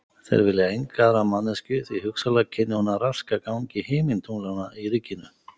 Þeir vilja enga aðra manneskju því hugsanlega kynni hún að raska gangi himintunglanna í ríkinu.